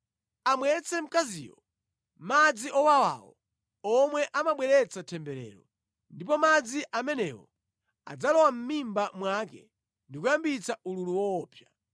Amwetse mkaziyo madzi owawawo omwe amabweretsa temberero, ndipo madzi amenewo adzalowa mʼmimba mwake ndi kuyambitsa ululu woopsa.